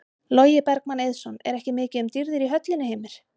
Logi Bergmann Eiðsson: Er ekki mikið um dýrðir í höllinni Heimir?